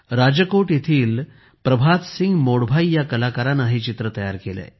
राजकोट येथील प्रभात सिंग मोडभाई या कलाकाराने हे चित्र तयार केले